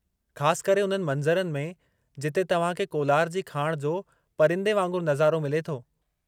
ख़ास करे उन्हनि मंज़रनि में जिथे तव्हां खे कोलार जी खाण जो पंरीदे वांगुरु नज़ारो मिले थो।